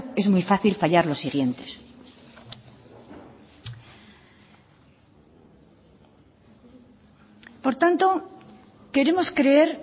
es muy fácil fallar los siguientes por tanto queremos creer